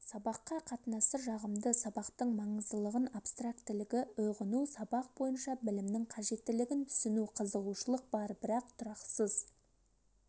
сабаққа қатынасы жағымды сабақтың маңыздылығын абстрактілігі үғыну сабақ бойынша білімнің қажеттілігін түсіну қызығушылық бар бірақ тұрақсыз